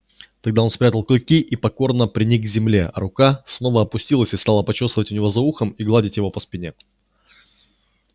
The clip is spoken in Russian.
тогда он спрятал клыки и покорно приник к земле а рука снова опустилась и стала почёсывать у него за ухом и гладить его по спине